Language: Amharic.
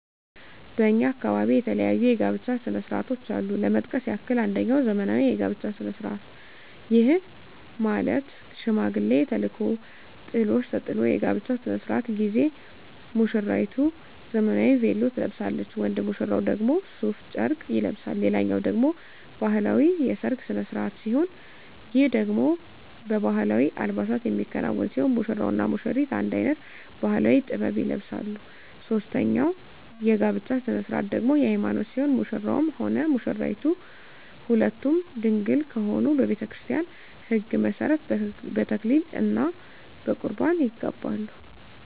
በእኛ አካባቢ የተለያዩ የጋብቻ ስነ ስርዓቶች አሉ ለመጥቀስ ያክል አንጀኛው ዘመናዊ የጋብቻ ስነ ስርዓት ይህም ማለት ሽማግሌ ተልኮ ጥሎሽ ተጥሎ የጋብቻው ስነ ስርዓት ጊዜ ሙስራይቱ ዘመናዊ ቬሎ ትለብሳለች ወንድ ሙሽራው ደግሞ ሡፍ ጨርቅ ይለብሳል ሌላኛው ደግሞ ባህላዊ የሰርግ ስነ ስርዓት ሲሆን ይህ ደግሞ በባህላዊ አልባሳት የሚከናወን ሲሆን ሙሽራው እና ሙሽሪቷ አንድ አይነት ባህላዊ(ጥበብ) ይለብሳሉ ሶስተኛው የጋብቻ ስነ ስርዓት ደግሞ የሀይማኖት ሲሆን ሙሽራውም ሆነ ሙሽራይቷ ሁለቱም ድንግል ከሆኑ በቤተክርስቲያን ህግ መሠረት በተክሊል እና በቁርባን ይጋባሉ።